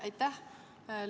Aitäh!